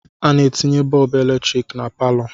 A na-etinye bọọbụ eletrik na palọ.